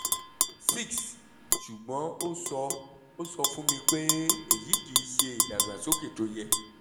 6 ṣùgbọ́n ó sọ ó sọ fún mi pé èyí kì í ṣe ìdàgbàsókè tó yẹ